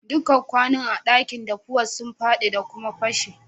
Dukan kwanun a'dakin daffuwa sun fadi da kuma pashe.